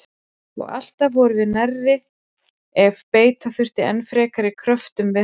Og alltaf vorum við nærri ef beita þurfti enn frekari kröftum við hana.